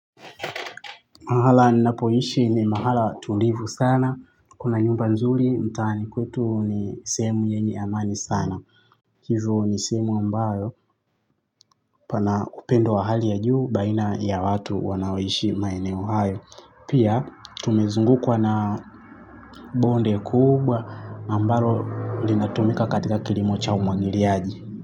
Mahala ninapoishi ni mahala tulivu sana, kuna nyumba nzuri mtaani. Kwetu ni sehemu yenye amani sana. Hivo ni sehemu ambayo pana upendo wa hali ya juu baina ya watu wanaoishi maeneo hayo. Pia tumezungukwa na bonde kubwa ambalo linatumika katika kilimo cha umwagiliaji.